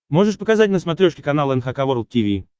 можешь показать на смотрешке канал эн эйч кей волд ти ви